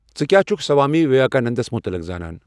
ژٕ کیا چُھکھ سوامی وویکاننداہس مُطلق زانَن ؟